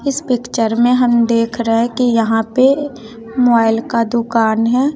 इस पिक्चर में हम देख रहे की यहां पे मोइल का दुकान है।